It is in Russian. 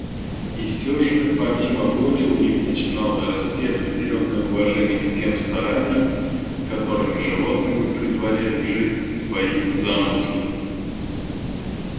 и всё же помимо воли у них начинало расти определённое уважение к тем стараниям с которыми животные претворяли в жизнь свои замыслы